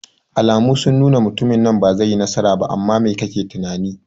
Alamu sun nuna mutumin nan bazai yi nasara ba, amma mai kake tunani?